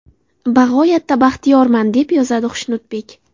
Bag‘oyatda baxtiyorman”, deb yozadi Xushnudbek.